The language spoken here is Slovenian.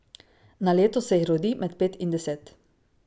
Na leto se jih rodi med pet in deset.